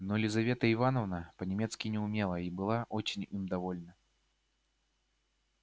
но лизавета ивановна по-немецки не умела и была очень им довольна